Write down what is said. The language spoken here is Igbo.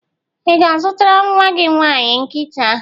Ị ga-azụtara nnwa gị nwaanyị nkịta?